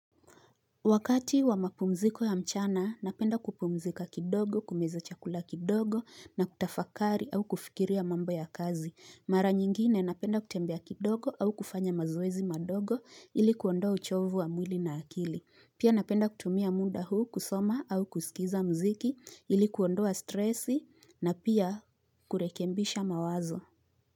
Wakati wamapumziko ya mchana, napenda kupumzika kidogo, kumeza chakula kidogo na kutafakari au kufikiria mambo ya kazi. Mara nyingine napenda kutembea kidogo au kufanya mazoezi madogo ili kuondoa uchovu wa mwili na akili. Pia napenda kutumia muda huu kusoma au kusikiza muziki ili kuondoa stresi na pia kurekembisha mawazo.